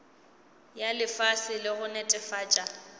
ya fase le go netefatša